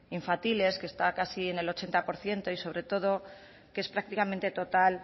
infantiles que está casi en el ochenta por ciento y sobre todo que es prácticamente total